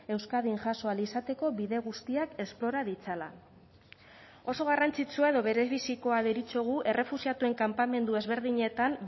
euskadin jaso ahal izateko bide guztiak esplora ditzala oso garrantzitsua edo berebizikoa deritzogu errefuxiatuen kanpamendu ezberdinetan